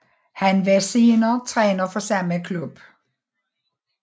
Han var senere træner for samme klub